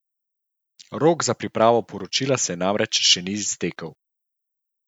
Rok za pripravo poročila se namreč še ni iztekel.